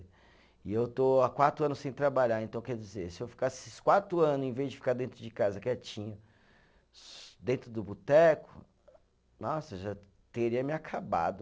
E eu estou há quatro anos sem trabalhar, então, quer dizer, se eu ficasse esses quatro anos, em vez de ficar dentro de casa quietinho, dentro do boteco, nossa, já teria me acabado.